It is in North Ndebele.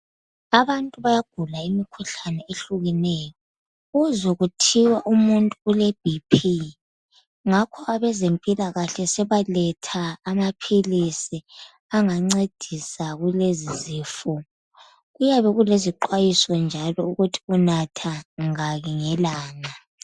Abantu bayagula imkhuhlane ehlukeneyo uzwe kuthiwa umuntu ule B.P ngakho abezempilakahle sebaletha amaphilisi angancedisa kulezi zifo. Kuyabe kulezi xwayiso njalo ukuthi unatha ngaki ngelanga.